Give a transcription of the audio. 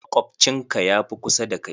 Makwabcin ka ya fi kusa da kai.